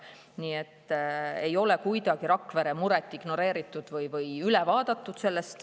Nii et ei ole kuidagi Rakvere muret ignoreeritud või sellest üle vaadatud.